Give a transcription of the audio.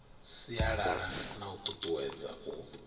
sialala na u tutuwedza u